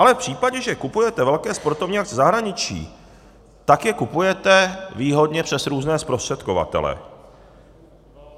Ale v případě, že kupujete velké sportovní akce ze zahraničí, tak je kupujete výhodně přes různé zprostředkovatele.